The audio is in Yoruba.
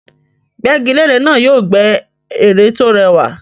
Gbẹ́gilére náà yóò gbẹ́ ère tó rẹwà